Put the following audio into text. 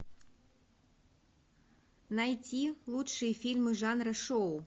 найти лучшие фильмы жанра шоу